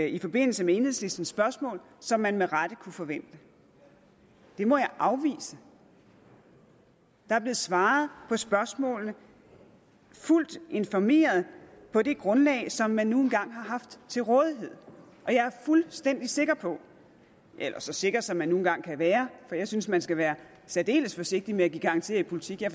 i forbindelse med enhedslisten spørgsmål som man med rette kunne forvente det må jeg afvise der er blevet svaret på spørgsmålene fuldt informeret på det grundlag som man nu engang har haft til rådighed og jeg er fuldstændig sikker på eller så sikker som man nu engang kan være for jeg synes man skal være særdeles forsigtig med at give garantier i politik jeg